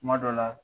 Kuma dɔ la